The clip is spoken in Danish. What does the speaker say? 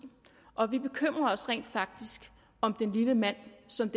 og vi bekymrer os rent faktisk om den lille mand som